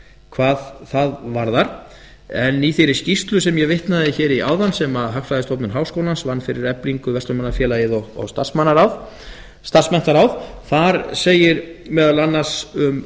hvað það varðar en í þeirri skýrslu sem ég vitnaði í áðan sem hagfræðistofnun háskólans vann fyrir eflingu verslunarmannafélagið og starfsmenntaráð segir meðal annars um